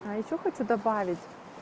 а ещё хочу добавить